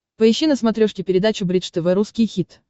поищи на смотрешке передачу бридж тв русский хит